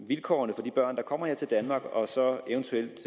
vilkårene for de børn der kommer her til danmark og så eventuelt